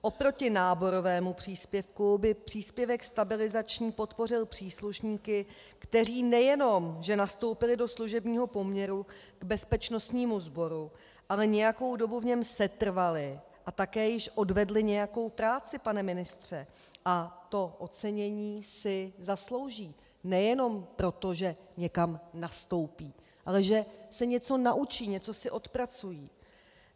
Oproti náborovému příspěvku by příspěvek stabilizační podpořil příslušníky, kteří nejenom že nastoupili do služebního poměru k bezpečnostnímu sboru, ale nějakou dobu v něm setrvali a také již odvedli nějakou práci, pane ministře, a to ocenění si zaslouží nejenom proto, že někam nastoupí, ale že se něco naučí, něco si odpracují.